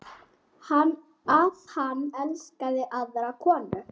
Að hann elski aðra konu.